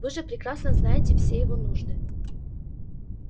вы же прекрасно знаете все его нужды